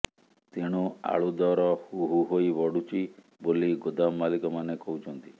ତେଣୁ ଆଳୁଦର ହୁହୁ ହୋଇ ବଢୁଛି ବୋଲି ଗୋଦାମ ମାଲିକମାନେ କହୁଛନ୍ତି